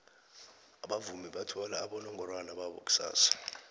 abavumi bathola abonongorwana babo kusasa